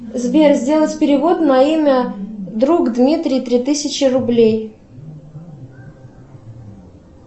сбер сделать перевод на имя друг дмитрий три тысячи рублей